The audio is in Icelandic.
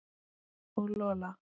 Og Lola.